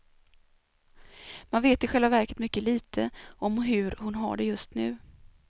Man vet i själva verket mycket lite om hur hon har det just nu.